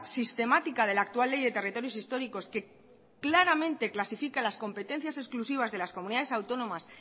sistemática de la actual ley de territorios históricos que claramente clasifica las competencias exclusivas de las comunidades autónomas